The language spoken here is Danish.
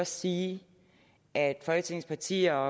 sige at folketingets partier har